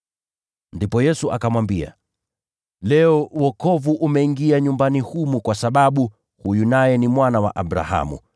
Ndipo Yesu akamwambia, “Leo, wokovu umeingia nyumbani humu, kwa sababu huyu naye ni mwana wa Abrahamu.